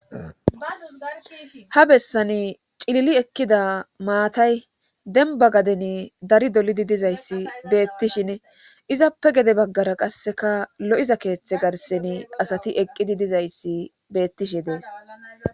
ha bessani cilili ekkida maatay denba gaden dari dolidi dizayssi beettishin izappe gede baggara qasseka lo7iza keeththe garseni asati eqqidi dizayssi beettishin dees